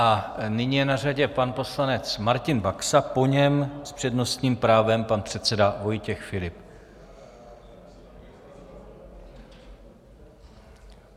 A nyní je na řadě pan poslanec Martin Baxa, po něm s přednostním právem pan předseda Vojtěch Filip.